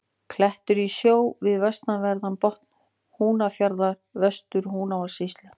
Klettur í sjó við vestanverðan botn Húnafjarðar í Vestur-Húnavatnssýslu.